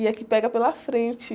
E é que pega pela frente.